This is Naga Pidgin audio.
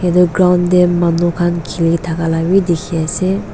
etu ground tey manu khan kiley thaka b dikey ase.